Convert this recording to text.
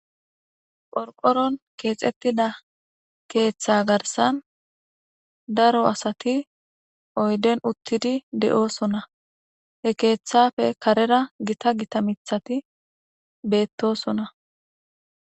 Qorqoron keexettida keeththa garsan daro asati oyden uttidi de'oosona he keeththafe karera gita gita mithati beettosona